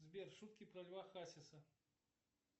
сбер шутки про льва хасиса